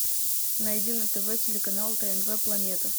найди на тв телеканал тнв планета